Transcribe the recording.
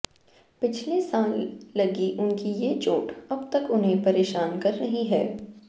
पिछले साल लगी उनकी ये चोट अब तक उन्हें परेशान कर रही है